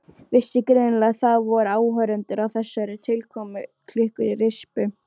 Vissi greinilega að það voru áhorfendur að þessari tilkomumiklu rispu.